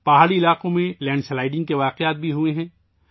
پہاڑی علاقوں میں مٹی کے تودے کھسکنے کے واقعات بھی ہوئے ہیں